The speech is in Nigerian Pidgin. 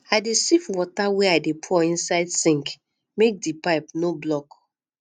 i dey sieve water wey i dey pour inside sink make di pipe no block